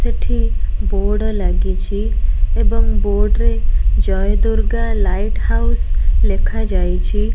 ସେଠି ବୋର୍ଡ ଲାଗିଚି ଏବଂ ବୋର୍ଡ ରେ ଜୟଦୁର୍ଗା ଲାଇଟ୍ ହାଉସ୍ ଲେଖା ଯାଇଛି।